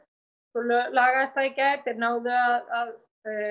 svo lagaðist það í gær þeir náðu að